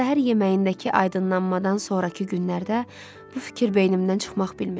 Səhər yeməyindəki aydınlanmadan sonrakı günlərdə bu fikir beynimdən çıxmaq bilmirdi.